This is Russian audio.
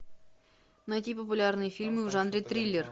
найти популярные фильмы в жанре триллер